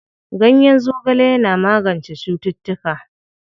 Ganyen zogale yana magance cututtuka.